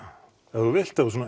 ef þú vilt ef þú